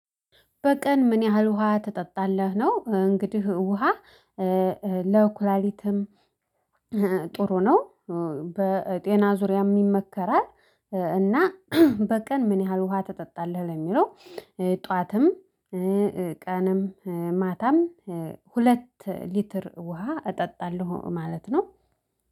በቀን ምን ያህል ውሃ ትጠጣለህ ነው? እንግዲህ ውሃ ለኩላሊትም ጥሩ ነው። በጤና ዙሪያም ይመከራል። እና ጥሩ ነው በጤና ዙሪያም ይመከራል። እና ጠዋትም ቀንም ማታም ሁለት ሊትር ውሃ እጠጣለሁ ማለት ነው።